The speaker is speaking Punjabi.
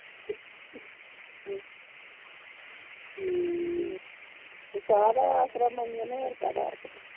ਹਮ ਤੇ ਚਾਹ ਦਾ ਈ ਆਸਰਾ ਮਾਈਆ ਨੂੰ ਹੋਰ ਕਾਦਾ ਆਸਰਾ